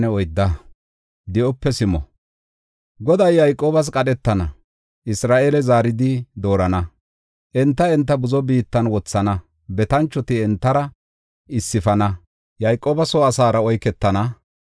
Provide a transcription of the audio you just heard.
Goday Yayqoobas qadhetana; Isra7eele zaaridi doorana; enta, enta buzo biittan wothana. Betanchoti entara issifana, Yayqooba soo asaara oyketana.